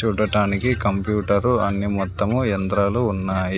చూడటానికి కంప్యూటరు అన్ని మొత్తము యంత్రాలు ఉన్నాయి.